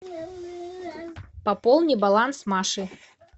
пополни баланс маши